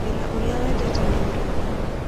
Wĩra ũrĩa wendete nĩ ũrĩkũ?